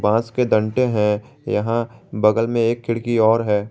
बस के डंडे हैं यहां बगल में एक खिड़की और है।